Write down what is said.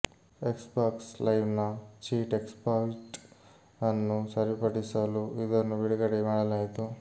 Xbox ಲೈವ್ನ cheat exploit ಅನ್ನು ಸರಿಪಡಿಸಲು ಇದನ್ನು ಬಿಡುಗಡೆ ಮಾಡಲಾಯಿತು